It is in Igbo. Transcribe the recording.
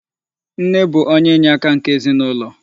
Nne bụ onye inyeaka nke ezinụlọ.